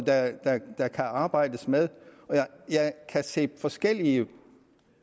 der kan arbejdes med jeg kan se forskellige